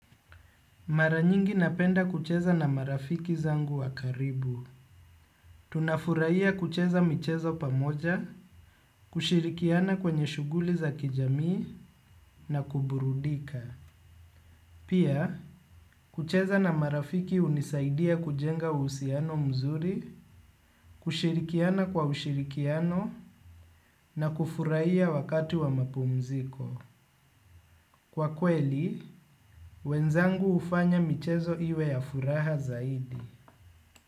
Mara nyingi napenda kucheza na marafiki zangu wa karibu. Tunafuraia kucheza michezo pamoja, kushirikiana kwenye shughuli za kijamii na kuburudika. Pia, kucheza na marafiki hunisaidia kujenga uhusiano mzuri, kushirikiana kwa ushirikiano na kufuraia wakati wa mapumziko. Kwa kweli, wenzangu hufanya michezo iwe ya furaha zaidi.